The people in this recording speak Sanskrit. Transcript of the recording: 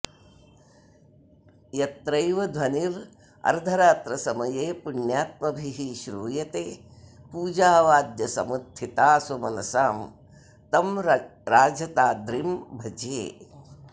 यत्रैव ध्वनिरर्धरात्रसमये पुण्यात्मभिः श्रूयते पूजावाद्यसमुत्थितः सुमनसां तं राजताद्रिं भजे